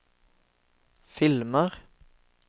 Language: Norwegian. filmer